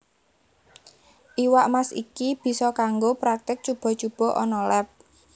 Iwak Mas iki bisa kanggo praktik cuba cuba ana leb